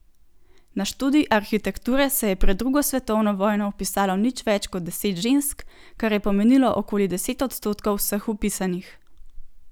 Na študij arhitekture se je pred drugo svetovno vojno vpisalo nič več kot deset žensk, kar je pomenilo okoli deset odstotkov vseh vpisanih.